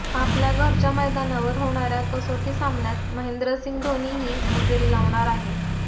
आपल्या घरच्या मैदानावर होणाऱ्या कसोटी सामन्यात महेंद्रसिंह धोनी ही हजेरी लावणार आहे